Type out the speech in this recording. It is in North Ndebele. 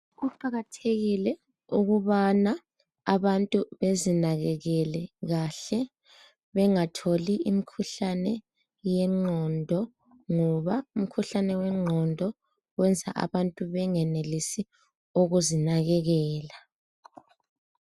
Kuqakathekile ukubana abantu bezinakekele kahle bengatholi imkhuhlane yengqondo ngoba umkhuhlane wengqondo wenza abantu bengenelisi ukuzinakekela